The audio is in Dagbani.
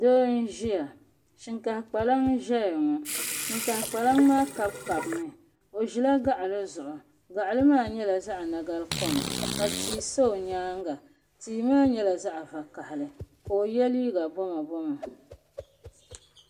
doo n-ʒiya shinkah' kpalinŋa n-ʒeya ŋɔ shinkah' kpalinŋa maa kabikabi mi o ʒila gaɣili zuɣu gaɣili maa nyɛla zaɣ' nagali kom ka tia sa o nyaaga tia maa nyɛla zaɣ' vakahali ka o ye liiga boma boma.